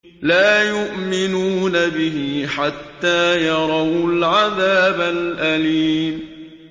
لَا يُؤْمِنُونَ بِهِ حَتَّىٰ يَرَوُا الْعَذَابَ الْأَلِيمَ